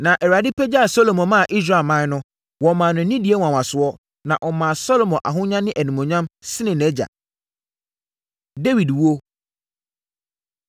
Na Awurade pagyaa Salomo maa Israelman no maa no nidie nwanwasoɔ, na ɔmaa Salomo ahonya ne animuonyam sene nʼagya. Dawid Owuo